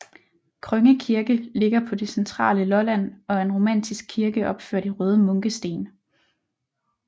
Krønge Kirke ligger på det centrale Lolland og er en romansk kirke opført i røde munkesten